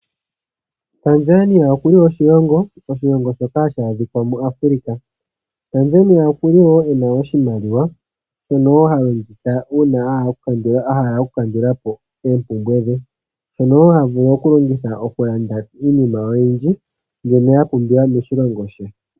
Tanzania oku li oshilongo shono hashi adhika mu Afulika. Tanzania oku li wo e na oshimaliwa, shono hashi longithwa okukandulapo oompumbwe. Oshimaliwa oshili wo hashi longithwa okulanda iinima mbyoka ya pumbiwa moshilongo.